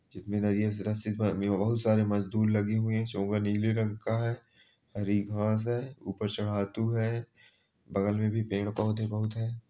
जिम्मेदारियाँ जरा सी इस आदमी पे बहुत सारे मजदूर लगे हुए हैं नीले रंग का है हरी घास है ऊपर चडातू है बगल में भी पेड़ पौधे बहुत है।